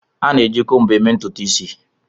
A na-eji combo eme ututu isi